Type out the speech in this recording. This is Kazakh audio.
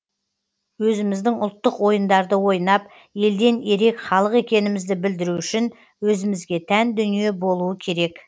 өзіміздің ұлттық ойындарды ойнап елден ерек халық екенімізді білдіру үшін өзімізге тән дүние болуы керек